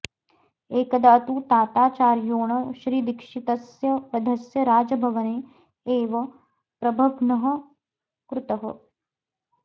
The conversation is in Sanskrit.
एकदा तु ताताचार्योण श्रीदीक्षितस्य वधस्य राजभवने एव प्रबन्घः कृतः